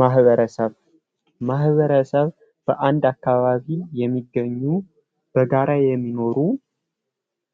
ማህበረሰብ ማህበረሰብ ባንድ አካባቢ የሚገኙ በጋራ የሚኖሩ